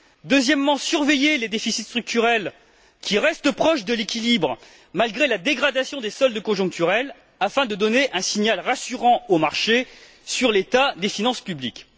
Deuxièmement, surveiller les déficits structurels, qui restent proches de l'équilibre, malgré la dégradation des soldes conjoncturelles afin de donner un signal rassurant aux marchés sur l'état des finances publiques.